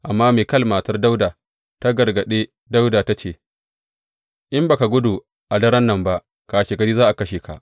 Amma Mikal matar Dawuda ta gargaɗe Dawuda, ta ce, In ba ka gudu a daren nan ba, kashegari za a kashe ka.